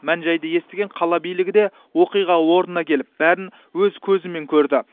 мән жайды естіген қала билігі де оқиға орнына келіп бәрін өз көзімен көрді